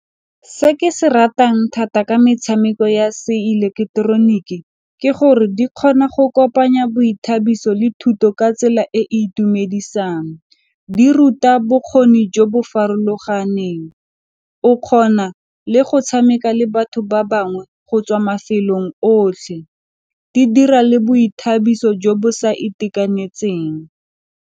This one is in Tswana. Se ke se ratang thata ka metshameko ya seeleketeroniki ke gore di kgona go kopanya boithabiso le thuto ka tsela e e itumedisang di ruta bokgoni jo bo farologaneng o kgona le go tshameka le batho ba bangwe go tswa mafelong otlhe di dira le boithabiso jo bo sa .